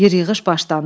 Yer-yığış başlandı.